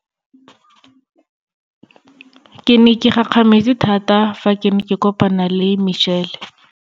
Ke ne ke gakgame tse thata fa ke ne ke kopana le Michelle.